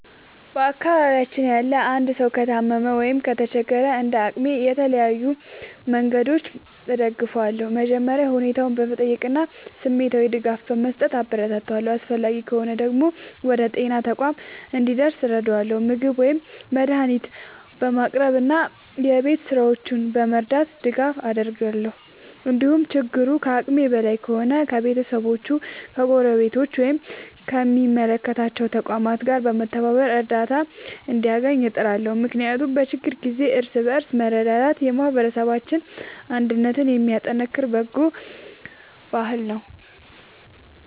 በአካባቢያችን ያለ አንድ ሰው ከታመመ ወይም ከተቸገረ፣ እንደ አቅሜ በተለያዩ መንገዶች ድጋፍ አደርጋለሁ። መጀመሪያ ሁኔታውን በመጠየቅ እና ስሜታዊ ድጋፍ በመስጠት አበረታታዋለሁ። አስፈላጊ ከሆነ ወደ ጤና ተቋም እንዲደርስ እረዳለሁ፣ ምግብ ወይም መድኃኒት በማቅረብ እና የቤት ሥራዎቹን በመርዳት ድጋፍ አደርጋለሁ። እንዲሁም ችግሩ ከአቅሜ በላይ ከሆነ ከቤተሰቦቹ፣ ከጎረቤቶች ወይም ከሚመለከታቸው ተቋማት ጋር በመተባበር እርዳታ እንዲያገኝ እጥራለሁ። ምክንያቱም በችግር ጊዜ እርስ በርስ መረዳዳት የማህበረሰብ አንድነትን የሚያጠናክር በጎ ባህል ነው።